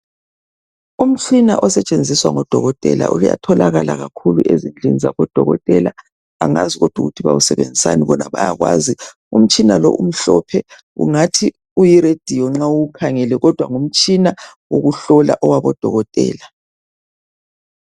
umtshina osetshenziswa ngo dokotela uyatholakala kakulu ezindlini zabo dokotela angazi kodwa ukuthi bawusebenzisani bona bayakwazi umtshina lo ngathi uyi radio nxa uwukhangele ngumtshina wokuhlola owabo dokotela